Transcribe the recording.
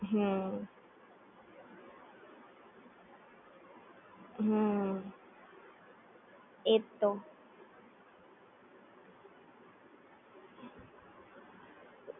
હુમ